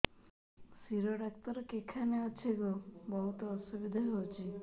ଶିର doctor କେଖାନେ ଅଛେ ଗୋ ବହୁତ୍ ଅସୁବିଧା ହଉଚି